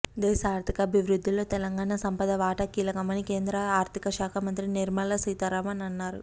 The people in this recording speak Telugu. దేశ ఆర్థికాభివృద్ధిలో తెలంగాణ సంపద వాటా కీలకమని కేంద్ర ఆర్థికశాఖ మంత్రి నిర్మలాసీతారామన్ అన్నారు